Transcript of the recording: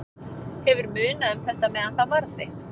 Hefur munað um þetta meðan það varði.